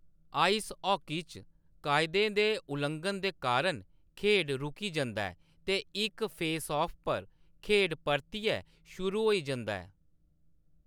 Ice hockey च, कायदें दे उल्लंघन दे कारण खेड्ड रूकी जंदा ऐ ते इक फेसऑफ पर खेड्ड परतियै शुरू होई जंदा ऐ।